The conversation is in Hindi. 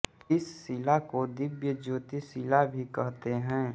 इस शिला को दिव्य ज्योति शिला भी कहते हैं